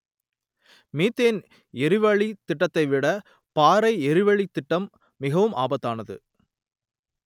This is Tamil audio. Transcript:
மீத்தேன் எரிவளித் திட்டத்தை விட பாறை எரிவளித் திட்டம் மிகவும் ஆபத்தானது